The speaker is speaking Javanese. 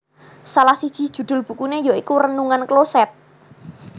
Salah siji judhul bukune ya iku Renungan Kloset